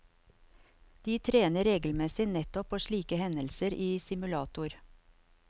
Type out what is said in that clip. De trener regelmessig nettopp på slike hendelser i simulator.